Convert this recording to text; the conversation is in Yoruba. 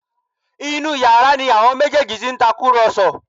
Inú yàrá ni àwọn méjèèjì ti ń tàkùrọ̀sọ